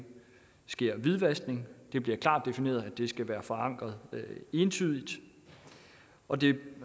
sker hvidvaskning det bliver klart defineret at det skal være forankret entydigt og det